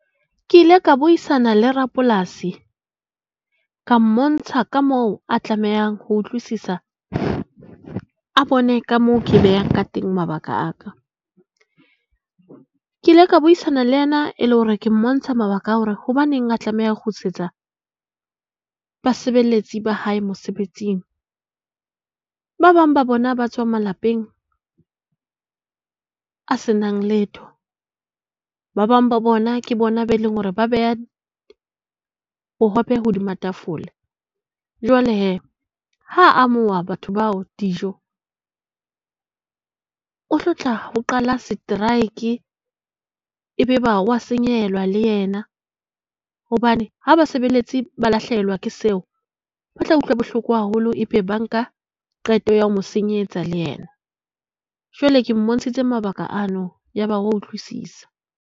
Ke ile ka buisana le rapolasi ka mmontsha ka moo a tlamehang ho utlwisisa a bone ka moo ke behang ka teng mabaka a ka. Ke ile ka buisana le yena e le hore ke mmontsha mabaka a hore hobaneng a tlameha ho kgutlisetsa basebeletsi ba hae mosebetsing. Ba bang ba bona ba tswa malapeng a senang letho. Ba bang ba bona ke bona bao e leng hore ba beha bohobe hodima tafole. Jwale he, ha a amoha batho bao dijo ho tlotla ho qala strike. Ebe eba o a senyehelwa le yena hobane ha basebeletsi ba lahlehelwa ke seo, ba tla utlwa bohloko haholo. Ee, be ba nka qeto ya ho mo senyetsa le yena. Jwale ke mmontshitse mabaka ano, ya ba o a utlwisisa.